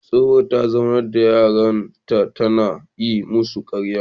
Tsohuwa ta zaunar da yaran tana yi musu karya